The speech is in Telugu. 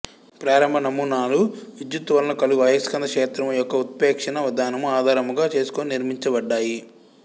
ప్రారంభ నమూనాలు విద్యుత్ వలన కలుగు అయస్కాంత క్షేత్రము యొక్క ఉత్ప్రేక్షణ విధానము ఆధారముగా చేసుకొని నిర్మించబడ్డాయి